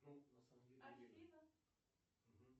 афина